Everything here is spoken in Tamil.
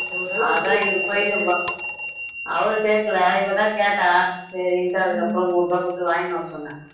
அதான் இவரு போயிட்டு வ~ அவரு கேட்கல இவதான் கேட்டா சரின்னுட்டு அதுக்கு அப்புறம் நூறு ரூபாய் கொடுத்து வாங்கிட்டு வர சொன்னேன்